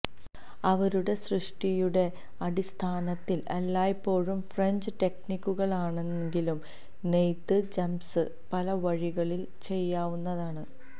അവരുടെ സൃഷ്ടിയുടെ അടിസ്ഥാനത്തിൽ എല്ലായ്പ്പോഴും ഫ്രെഞ്ച് ടെക്നിക്കുകളാണെങ്കിലും നെയ്ത്ത് ജംപ്സ് പല വഴികളിൽ ചെയ്യാവുന്നതാണ്